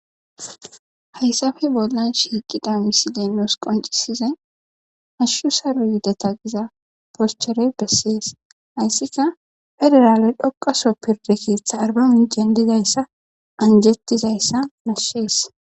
Hayssappe bollan shiiqida misiley nuus qonccisizay hashshu saro yideta giza poschere bessees hayssika pederaale dhoqqa soho pirde keetha arbaminccen dizayssa anjettizayssa nashshees.